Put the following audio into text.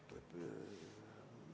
Kalvi Kõva, palun!